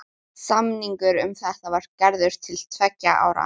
Samningur um þetta var gerður til tveggja ára.